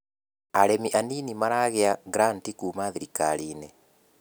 Arĩmi anini maragĩa granti kuma thirikariinĩ.